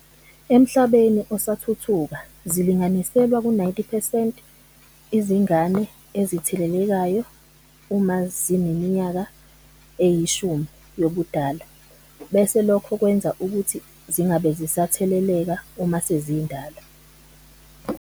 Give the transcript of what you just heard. Emhlabeni osathuthuka zilinganiselwa ku-90 percent izingane ezithelelekayo uma zineminyaka e-10 yobudala bese lokho kwenza ukuthi zingabe zisatheleleka uma sezindala.